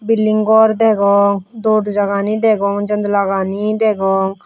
bulding gor degong doorja gani degong jandala gani degong.